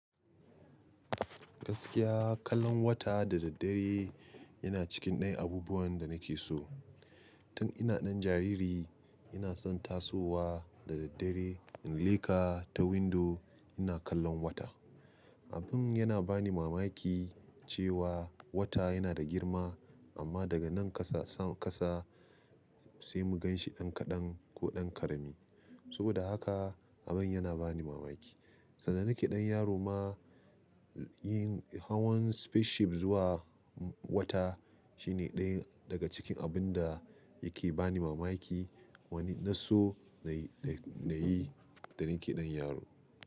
Gaskiya kallon wata da daddare yana cikin ɗaya abubuwan da nake so. Tun ina ɗan jariri ina son tasowa da daddare in leka ta windo ina kallon wata. Abin yana bani mamaki cewa wata yana da girma amma daga nan ƙasa san ƙasa sai mu ganshi ɗan kaɗan ko ɗan ƙarami. Saboda haka abin yana bani mamaki. Sanda nake ɗan yaro ma yin hawan spaceship zuwa wata shine ɗaya daga cikin abun da yake bani mamaki wani na so na yi da nake ɗan yaro.